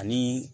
Ani